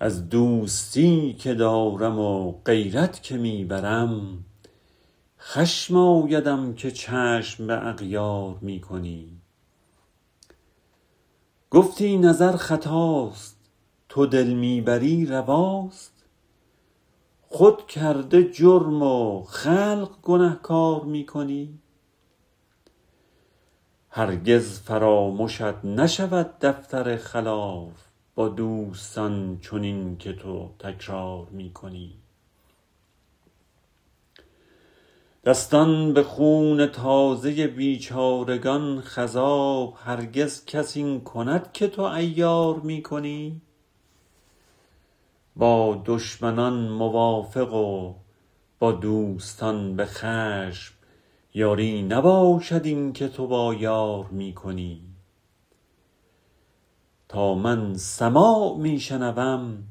از دوستی که دارم و غیرت که می برم خشم آیدم که چشم به اغیار می کنی گفتی نظر خطاست تو دل می بری رواست خود کرده جرم و خلق گنهکار می کنی هرگز فرامشت نشود دفتر خلاف با دوستان چنین که تو تکرار می کنی دستان به خون تازه بیچارگان خضاب هرگز کس این کند که تو عیار می کنی با دشمنان موافق و با دوستان به خشم یاری نباشد این که تو با یار می کنی تا من سماع می شنوم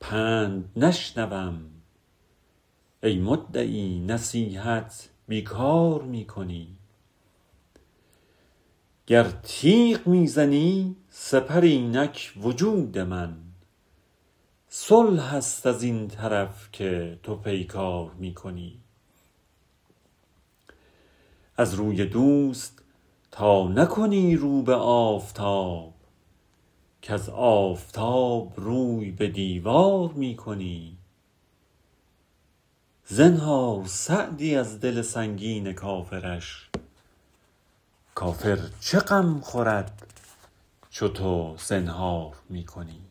پند نشنوم ای مدعی نصیحت بی کار می کنی گر تیغ می زنی سپر اینک وجود من صلح است از این طرف که تو پیکار می کنی از روی دوست تا نکنی رو به آفتاب کز آفتاب روی به دیوار می کنی زنهار سعدی از دل سنگین کافرش کافر چه غم خورد چو تو زنهار می کنی